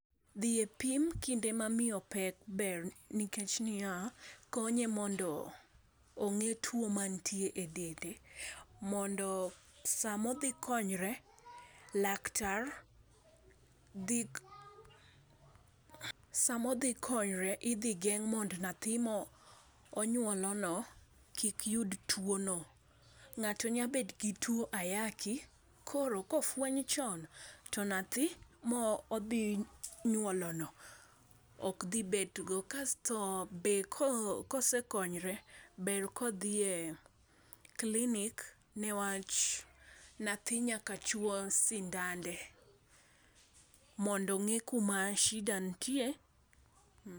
Dhi e pim kinde ma miyo pek ber nikech niya, konye mondo onge tuwo manitie e dende, mondo samodhi konyore, laktar dhi .Samodhi konyre, idhi geng' mondo nyathi monywolono kik yud tuwono. Ng'ato nyabet gi tuwo ayaki, koro kofweny chon to nyathi modhi nyuolono ok dhi bet go. Kasto be, kosekonyre, ber kodhi e klinik newach nyathi nyakachuwo sindande mondo ong'e kuma shida nitie.